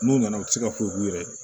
N'u nana u ti se ka foyi k'u yɛrɛ ye